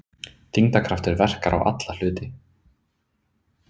Þyngdarkraftur verkar á alla hluti.